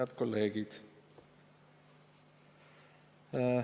Head kolleegid!